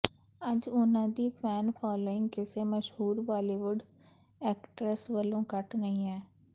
ਅੱਜ ਉਨ੍ਹਾਂ ਦੀ ਫੈਨ ਫਾਲੋਇੰਗ ਕਿਸੇ ਮਸ਼ਹੂਰ ਬਾਲੀਵੁਡ ਏਕਟਰੇਸ ਵਲੋਂ ਘੱਟ ਨਹੀਂ ਹੈ